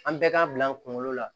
An bɛɛ k'a bila an kunkolo la